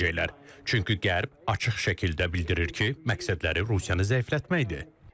Çünki qərb açıq şəkildə bildirir ki, məqsədləri Rusiyanı zəiflətməkdir.